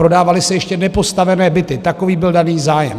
Prodávaly se ještě nepostavené byty - takový byl daný zájem.